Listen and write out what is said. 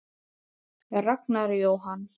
Ragnar Jóhann.